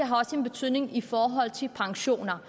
har også en betydning i forhold til pensioner